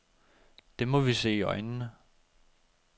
Det må vi se i øjnene.